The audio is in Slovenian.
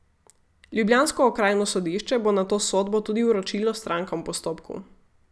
Ljubljansko okrajno sodišče bo nato sodbo tudi vročilo strankam v postopku.